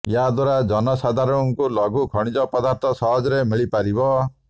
ଏହାଦ୍ୱାରା ଜନସାଧାରଣଙ୍କୁ ଲଘୁ ଖଣିଜ ପଦାର୍ଥ ସହଜରେ ମିିଳି ପାରିବ